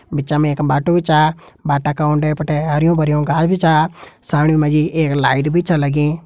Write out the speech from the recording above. बिच मा एक बाटू भी च बाटा का उंडे फुंडे हरयूं भरयूं घास भी च साइड मा एक लाइट भी छ लगीं।